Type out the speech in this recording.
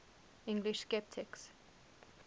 english sceptics